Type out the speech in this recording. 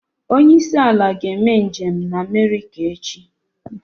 Onye isi ala ga-eme njem na America echi